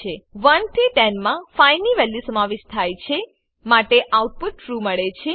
1 થી 10 મા 5 ની વેલ્યુ સમાવિષ્ટ થાય છે માટે આઉટપુટ ટ્રૂ મળે છે